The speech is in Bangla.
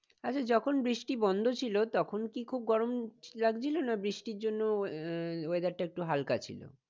আচ্ছা যখন বৃষ্টি বন্ধ ছিল তখন কি খুব গরম লাগছিল? না বৃষ্টি জন্য আহ weather টা একটু হালকা ছিল?